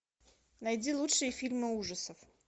найди лучшие фильмы ужасов